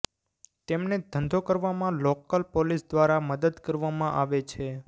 તેમને ધંધો કરવામાં લોકલ પોલીસ દ્વારા મદદ કરવામાં આવે છે